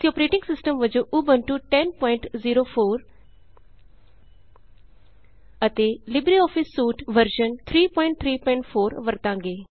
ਅਸੀਂ operating system ਵਜੋਂ Ubuntu 1004 ਅਤੇ ਲਿਬਰੇਆਫਿਸ ਸੂਟ 334 ਵਰਤਾਂਗੇ